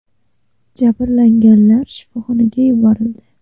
Jabrlanganlar shifoxonaga yuborildi.